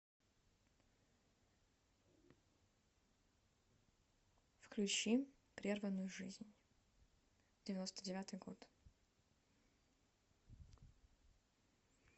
включи прерванную жизнь девяносто девятый год